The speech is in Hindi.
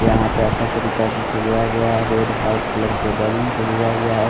यहाँ पे अच्छा तरीका से सजाया गया है रेड व्हाइट कलर के बैलून से सजाया गया है।